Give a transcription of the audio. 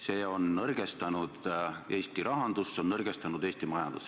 See on nõrgestanud Eesti rahandust, see on nõrgestanud Eesti majandust.